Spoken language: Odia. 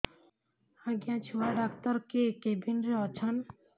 ଆଜ୍ଞା ଛୁଆ ଡାକ୍ତର କେ କେବିନ୍ ରେ ଅଛନ୍